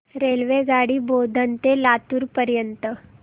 रेल्वेगाडी बोधन ते लातूर पर्यंत